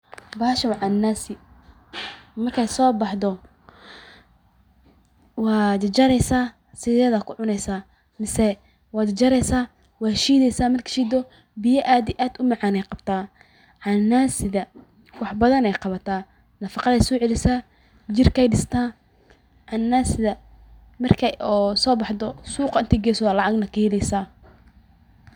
Bahashan waa cananasi markey soo baxdo waa jarjareys asidheed ayaa kucuneysa mise waa jarjareysa waa shiidheysa markad shiido biya aad iyo aad umacan ayee qabta. canansidha wac badhan ayee qabta nafaqad ey socelisa jirka ey dista canansaidha marka ey sobaxdo suqa inti geesa aa lacagneh kaheleysa.